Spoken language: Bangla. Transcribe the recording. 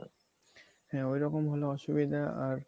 হ্যা এরকম হলে অসুবিধা আর